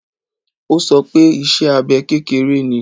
Ó sọ pé iṣẹ́ abẹ kékeré ni.